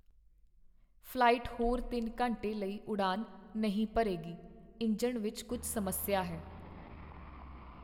flight ਹੋਰ ਤਿੰਨ ਘੰਟੇ ਲਈ ਉਡਾਣ ਨਹੀਂ ਭਰੇਗੀ ਇੰਜਣ ਵਿੱਚ ਕੁੱਝ ਸਮੱਸਿਆ ਹੈ